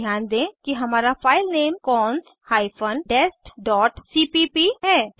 ध्यान दें कि हमारा filename cons hyphen dest dot cpp है